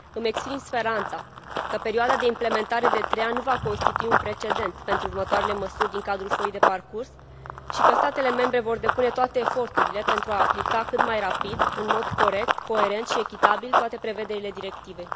Îmi exprim speranța că perioada de implementare de trei ani nu va constitui un precedent pentru următoarele măsuri din cadrul foii de parcurs și că statele membre vor depune toate eforturile pentru a aplica cât mai rapid, în mod corect, coerent și echitabil, toate prevederile Directivei.